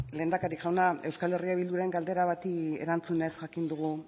lehendakari jauna euskal herria bilduren galdera bati erantzunez jakin dugu